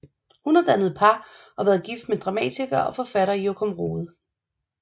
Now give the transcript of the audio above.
Hun har dannet par og været gift med dramatiker og forfatter Jokum Rohde